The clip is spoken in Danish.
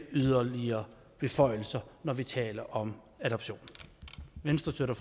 yderligere beføjelser når vi taler om adoption venstre støtter